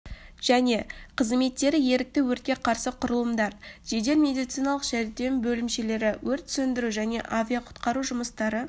және қызметтері ерікті өртке қарсы құрылымдар жедел медициналық жәрдем бөлімшелері өрт сөндіру және авариялық-құтқару жұмыстары